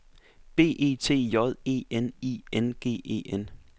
B E T J E N I N G E N